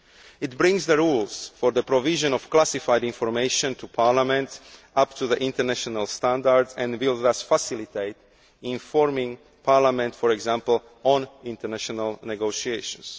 It brings the rules on the provision of classified information to Parliament up to international standards and will thus facilitate informing Parliament, for example, on international negotiations.